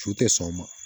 Su tɛ sɔn o ma